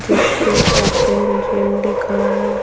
जिस पे open gym लिखा है।